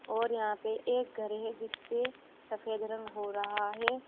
और यहां पे एक घर है जीसपे सफेद रंग हो रहा है।